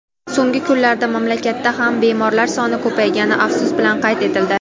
so‘nggi kunlarda mamlakatda ham bemorlar soni ko‘paygani afsus bilan qayd etildi.